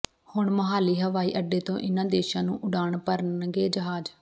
ਹੁਣ ਮੋਹਾਲੀ ਹਵਾਈ ਅੱਡੇ ਤੋਂ ਇਨ੍ਹਾਂ ਦੇਸ਼ਾਂ ਨੂੰ ਉਡਾਣ ਭਰਨਗੇ ਜਹਾਜ਼